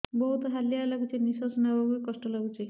ବହୁତ୍ ହାଲିଆ ଲାଗୁଚି ନିଃଶ୍ବାସ ନେବାକୁ ଵି କଷ୍ଟ ଲାଗୁଚି